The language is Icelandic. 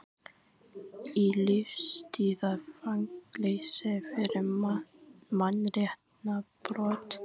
Í lífstíðarfangelsi fyrir mannréttindabrot